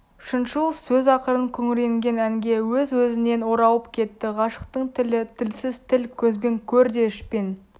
шыншыл сөз ақырын күңіренген әнге өз-өзінен оралып кетті ғашықтың тілі тілсіз тіл көзбен көр де ішпен